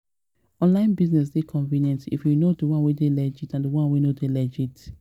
online business dey convenient if you know di one wey dey legit and di one wey no legit